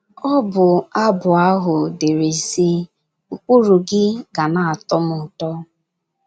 Ọbụ abụ ahụ dere sị: “ Ụkpụrụ gị ga na - atọ m ụtọ".